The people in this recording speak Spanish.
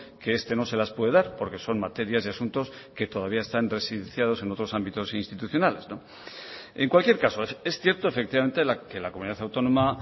que este no se las puede dar porque son materias y asuntos que todavía están residenciados en otros ámbitos institucionales en cualquier caso es cierto efectivamente que la comunidad autónoma